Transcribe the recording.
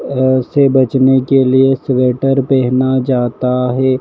अह से बचने के लिए स्वेटर पहना जाता है।